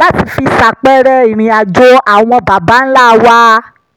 láti fi ṣàpẹẹrẹ ìrìnàjò àwọn baba ńlá wa